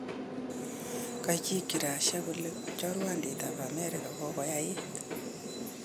Kachikchi Russia kole chorwandit ak Amerika kokoyaiit